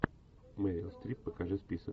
мерил стрип покажи список